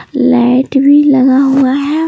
Light भी लगा हुआ है।